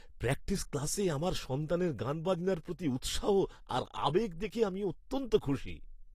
Practice ক্লাসে আমার সন্তানের গানবাজনার প্রতি উৎসাহ আর আবেগ দেখে আমি অত্যন্ত খুশি।